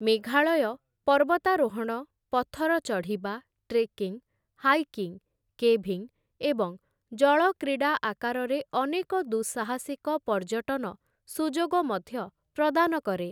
ମେଘାଳୟ ପର୍ବତାରୋହଣ, ପଥର ଚଢ଼ିବା, ଟ୍ରେକିଂ, ହାଇକିଂ, କେଭିଂ ଏବଂ ଜଳ କ୍ରୀଡ଼ା ଆକାରରେ ଅନେକ ଦୁଃସାହସିକ ପର୍ଯ୍ୟଟନ ସୁଯୋଗ ମଧ୍ୟ ପ୍ରଦାନ କରେ ।